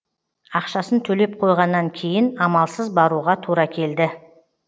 ақшасын төлеп қойғаннан кейін амалсыз баруға тура келді